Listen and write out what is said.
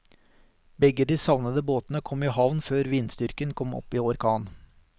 Begge de savnede båtene kom i havn før vindstyrken kom opp i orkan.